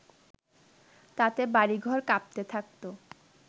তাতে বাড়িঘর কাঁপতে থাকতো